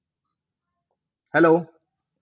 Hello